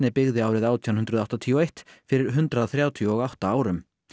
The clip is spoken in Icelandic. byggði árið átján hundruð áttatíu og eitt fyrir hundrað þrjátíu og átta árum